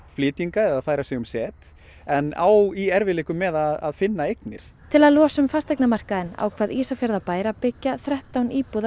flytja hingað eða færa sig um set en á í erfiðleikum með að finna eignir til að losa um fasteignamarkaðinn ákvað Ísafjarðarbær að byggja þrettán íbúða